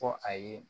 Fɔ a ye